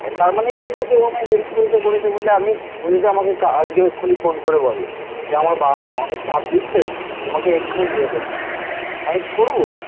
তার মানে এই নয় যে ও আমায় হেল্প করেছে করেছে বলে আমি. ও যদি আমাকে আজকে এক্ষুণি ফোন করে বলো যে আমার বাবা মা অনেক চাপ দিচ্ছে তোমাকে এক্ষুণি বিয়ে করে নিতে হবে. আমি করবো?